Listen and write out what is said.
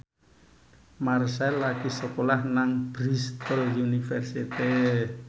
Marchell lagi sekolah nang Bristol university